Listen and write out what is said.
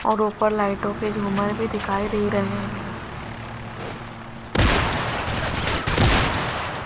और ऊपर लाइटों के झूमर भी दिखाई दे रहे --